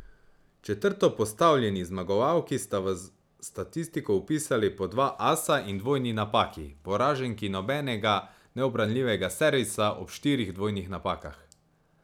Četrtopostavljeni zmagovalki sta v statistiko vpisali po dva asa in dvojni napaki, poraženki nobenega neubranljivega servisa ob štirih dvojnih napakah.